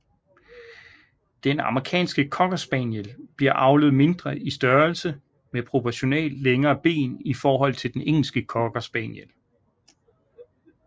Den amerikanske cocker spaniel bliver avlet mindre i størrelse med proportionalt længere ben i forhold til den engelske cocker spaniel